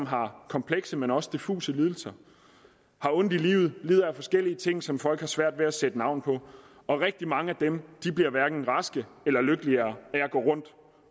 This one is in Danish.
har komplekse men også diffuse lidelser har ondt i livet lider af forskellige ting som folk har svært ved at sætte navn på og rigtig mange af dem bliver hverken raske eller lykkeligere af at gå rundt